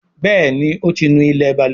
Béèni o tí ńú ilé balùwẹ̀.